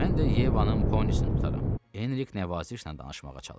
Mən də Yevanın ponisini tutaram, Enrik nəvazişlə danışmağa çalışdı.